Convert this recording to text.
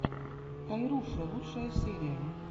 тойруша лучшая серия